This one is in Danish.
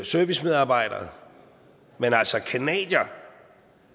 servicemedarbejdere men